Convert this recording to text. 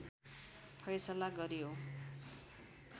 फैसला गर्‍यो